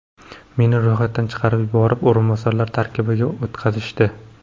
Meni ro‘yxatdan chiqarib yuborib, o‘rinbosarlar tarkibiga o‘tkazishdi.